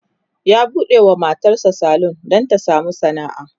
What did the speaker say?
ya buɗewa matan sa salon Dan Ta samu sana'a